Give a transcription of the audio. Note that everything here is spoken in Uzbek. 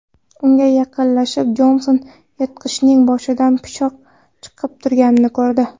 Unga yaqinlashib, Jonson yirtqichning boshidan pichoq chiqib turganini ko‘rdi.